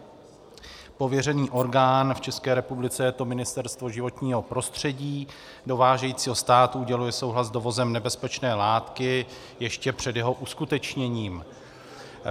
Pověřený orgán, v České republice je to Ministerstvo životního prostředí dovážejícího státu, uděluje souhlas s dovozem nebezpečné látky ještě před jeho uskutečněním.